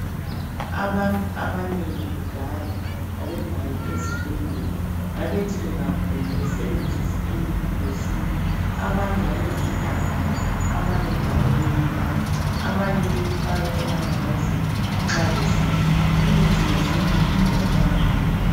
Abantu abanengi kudala babengayi ezibhedlela .Babethi bengagula besebenzise imithi yesintu. Abanye babefutha ngayo ,abanye njalo beyinatha, abanye beyifaka emalambazini nxa besidla. Imithi yesintu itholakala lula.